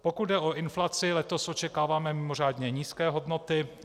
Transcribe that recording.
Pokud jde o inflaci, letos očekáváme mimořádně nízké hodnoty.